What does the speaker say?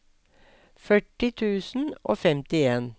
førti tusen og femtien